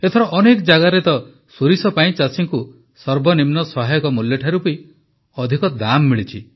ଏଥର ଅନେକ ଜାଗାରେ ତ ସୋରିଷ ପାଇଁ ଚାଷୀଙ୍କୁ ସର୍ବନିମ୍ନ ସହାୟକ ମୂଲ୍ୟ ଠାରୁ ବି ଅଧିକ ଦାମ୍ ମିଳିଛି